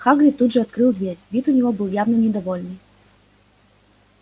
хагрид тут же открыл дверь вид у него был явно недовольный